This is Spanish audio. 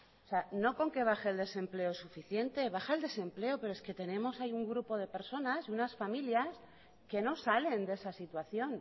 o sea no con que baje el desempleo es suficiente baja el desempleo pero es que tenemos ahí un grupo de personas y unas familias que no salen de esa situación